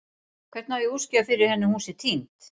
Hvernig á ég að útskýra fyrir henni að hún sé týnd?